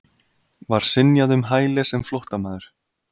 Var synjað um hæli sem flóttamaður